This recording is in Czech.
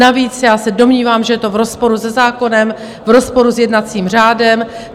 Navíc já se domnívám, že je to v rozporu se zákonem, v rozporu s jednacím řádem.